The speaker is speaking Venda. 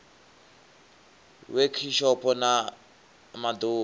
wekhishopho na ma ḓ uvha